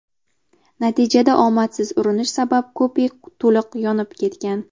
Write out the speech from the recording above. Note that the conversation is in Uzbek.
Natijada omadsiz urinish sabab kupe to‘liq yonib ketgan.